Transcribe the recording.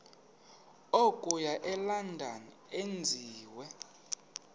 okuya elondon enziwe